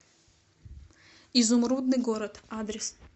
изумрудный город адрес